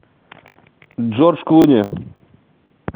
джордж клуни